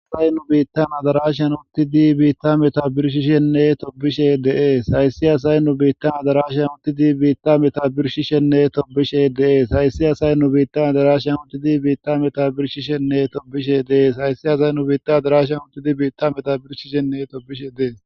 Hay nu biittana darasheyan uttidi biitta meta birshishenne tobishe dee hayssi asay nu biittana darashan uttidi biitta meta birshishenne tobishe deees hayssi asay nu biittana darashan untidi biitta meta birshishenne tobishe deees hayssi asay nu biitta darashan uttidi biitta meta birshishenne tobishe dees